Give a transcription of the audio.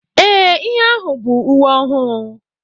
Ee ihe ahụ bụ uwe ọhụụ